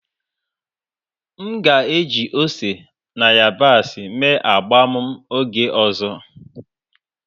M ga-eji ose na yabasị mee agba m oge ọzọ.